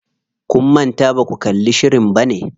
Kun manta baku kalli shirin bane?